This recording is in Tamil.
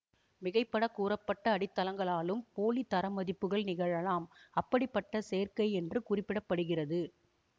மிகைபடக் கூறப்பட்ட அடித்தளங்களாலும் போலி தரமதிப்புகள் நிகழலாம் அப்படிப்பட்ட சேர்க்கை என்று குறிப்பிட படுகிறது